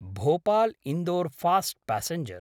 Bhopal-Indore fast passenger